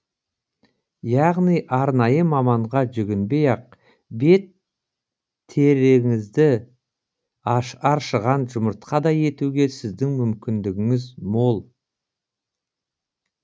яғни арнайы маманға жүгінбей ақ бет тереңізді аршыған жұмыртқадай етуге сіздің мүмкіндігіңіз мол